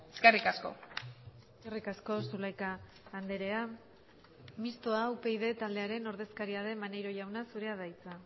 eskerrik asko eskerrik asko zulaika andrea mistoa upyd taldearen ordezkaria den maneiro jauna zurea da hitza